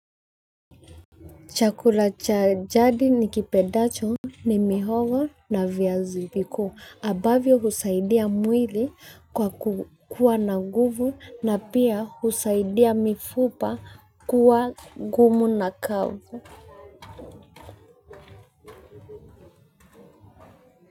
Chakula cha jadi nikipendacho ni mihogo na viazi vikuu. Ambavyo husaidia mwili kwa kua na guvu na pia husaidia mifupa kuwa ngumu na kavu.